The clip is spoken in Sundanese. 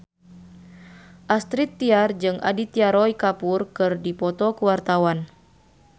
Astrid Tiar jeung Aditya Roy Kapoor keur dipoto ku wartawan